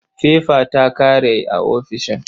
Fefa ta ƙare a ofishin.